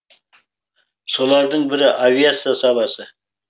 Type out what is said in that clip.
солардың бірі авиация саласы